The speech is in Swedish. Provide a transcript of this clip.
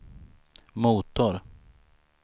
motor